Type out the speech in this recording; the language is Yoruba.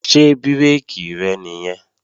Ṣé bírèkì rẹ̀ nìyẹn?